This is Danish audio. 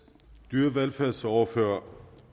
dyrevelfærdsordfører herre